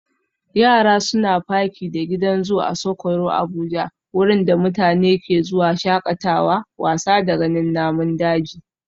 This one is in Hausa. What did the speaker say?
Yara suna faki da gidan zoo Asokoro Abuja wurin da mutane ke zuwa shakatawa, wasa da ganin namun daji